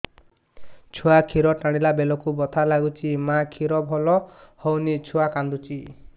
ଛୁଆ ଖିର ଟାଣିଲା ବେଳକୁ ବଥା ଲାଗୁଚି ମା ଖିର ଭଲ ହଉନି ଛୁଆ କାନ୍ଦୁଚି